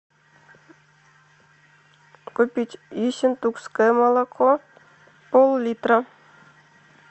купить ессентукское молоко пол литра